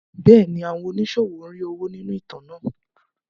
Bẹ́ẹ̀ni, àwọn oníṣòwò ń rí owó nínú ìtàn náà.